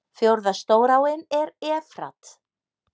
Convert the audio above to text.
Fjórða stóráin er Efrat.